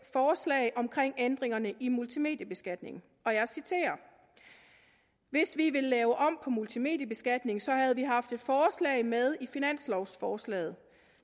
forslaget om ændringerne af multimediebeskatning og jeg citerer hvis vi ville lave om multimediebeskatningen så havde vi haft et forslag med i finanslovsforslaget